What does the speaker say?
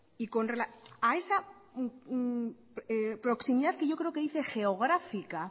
en esa proximidad que yo creo que dice geográfica